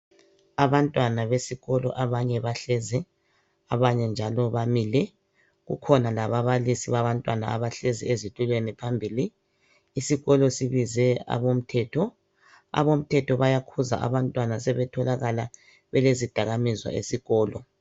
Abantwana besikolo abanye bahlezi abanye njalo bamile kukhona lababalisi babantwana abahlezi ezitulweni phambili isikolo sibize abomthetho, abomthetho bayakhuza abantwana sebethokalala belezidakamizwa esikolo.